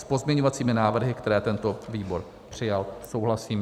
S pozměňovací návrhy, které tento výbor přijal, souhlasím.